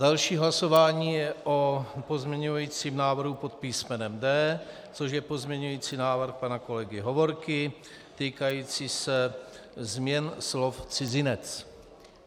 Další hlasování je o pozměňovacím návrhu pod písmenem D, což je pozměňovací návrh pana kolegy Hovorky týkající se změn slov cizinec.